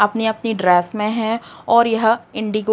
अपनी अपनी ड्रेस में हैं और यह इंडिगो --